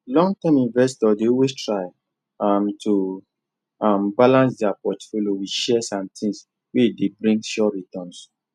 longterm investors dey always try um to um balance their portfolio with shares and things wey dey bring sure returns